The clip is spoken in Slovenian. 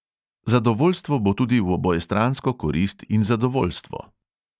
Zadovoljstvo bo tudi v obojestransko korist in zadovoljstvo.